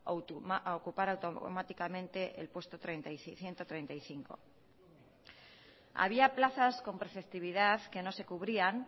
a ocupar automáticamente el ciento treinta y cinco había plazas con preceptividad que no se cubrían